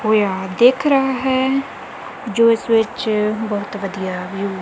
ਹੋਇਆ ਦਿੱਖ ਰਿਹਾ ਹੈ ਜੋ ਇੱਸ ਵਿੱਚ ਬਹੁਤ ਵਧੀਆ ਵਿਊ --